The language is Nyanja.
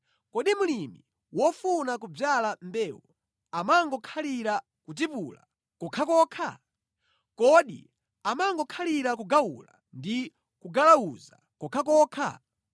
Kodi mlimi wofuna kudzala mbewu amangokhalira kutipula kokhakokha? Kodi amangokhalira kugawula ndi kugalawuza kokhakokha?